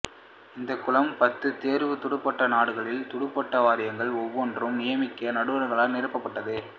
இந்தக் குழாம் பத்து தேர்வுத் துடுப்பாட்ட நாடுகளின் துடுப்பாட்ட வாரியங்கள் ஒவ்வொன்றும் நியமிக்கும் நடுவர்களால் நிரப்பப் பட்டது